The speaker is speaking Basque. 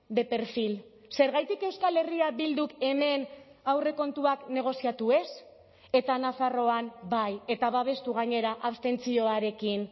de perfil zergatik euskal herria bilduk hemen aurrekontuak negoziatu ez eta nafarroan bai eta babestu gainera abstentzioarekin